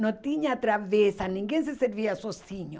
Não tinha travessa, ninguém se servia sozinho.